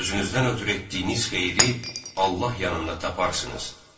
Özünüzdən ötrü etdiyiniz xeyiri Allah yanında taparsınız.